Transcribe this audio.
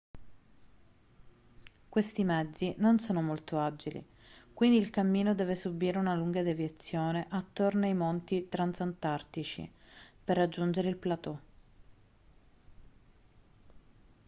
questi mezzi non sono molto agili quindi il cammino deve subire una lunga deviazione attorno ai monti transantartici per raggiungere il plateau